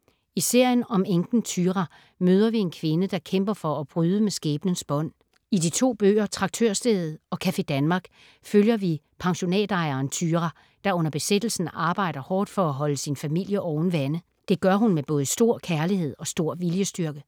I serien om enken Thyra møder vi en kvinde, der kæmper for at bryde med skæbnens bånd. I de to bøger, Traktørstedet og Café Danmark, følger vi pensionatejeren Thyra, der under besættelsen arbejder hårdt for at holde sin familie oven vande. Det gør hun med både stor kærlighed og stor viljestyrke.